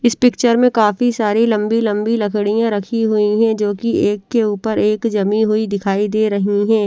इस पिक्चर में काफी सारी लंबी लंबी लड़कियां रखी हुई हैं जो की एक के ऊपर एक जमी हुई दिखाई दे रही हैं।